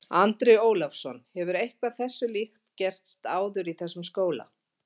Andri Ólafsson: Hefur eitthvað þessu líkt gerst áður í þessum skóla?